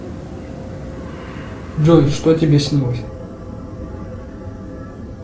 джой что тебе снилось